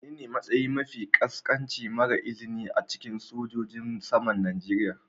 Menene matsayi mafi ƙasƙanci mara izini a cikin sojojin saman Najeriya.?